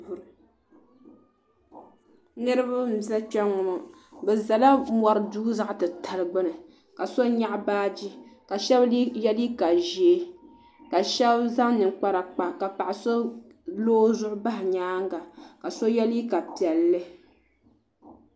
Niriba n za kpenŋɔ bɛ zala mori duu zaɣa titali gbini ka so nyaɣi baaji ka sheba ye liiga ʒee ka sheba zaŋ ninkpara kpa ka paɣa so lo o zuɣu bahi nyaanga ka so ye liiga piɛlli.